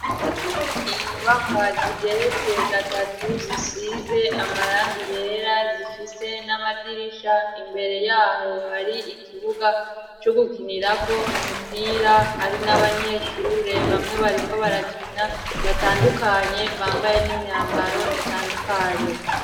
Inyubakwa zigeretse gatatu zisize amarangi yera zifise n'amadirisha imbere yaho hari ikibuga c'ugukinirako umupira hari n'abanyeshure bamwe bariko barakina batandukanye bambaye n'imyambaro itandukanye.